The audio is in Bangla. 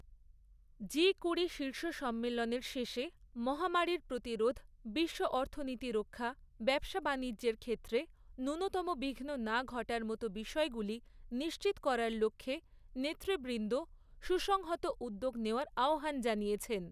জি কুড়ি শীর্ষ সম্মেলনের শেষে মহামারীর প্রতিরোধ, বিশ্ব অর্থনীতি রক্ষা, ব্যবসা বানিজ্যর ক্ষেত্রে ন্যূনতম বিঘ্ন না ঘটার মত বিষয়গুলি নিশ্চিত করার লক্ষ্যে নেতৃবৃন্দ সুসংহত উদ্যোগ নেওয়ার আহ্বান জানিয়েছেন।